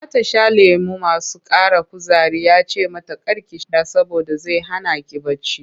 Za ta sha lemuna masu ƙara kuzari ya ce mata kar ki sha saboda zai hana ki bacci.